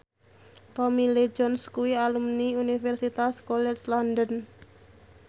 Tommy Lee Jones kuwi alumni Universitas College London